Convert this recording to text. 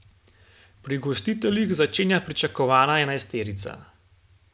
Pri gostiteljih začenja pričakovana enajsterica.